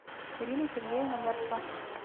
ирина сергеевна гарцева